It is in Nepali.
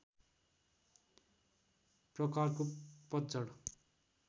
प्रकारको पतझड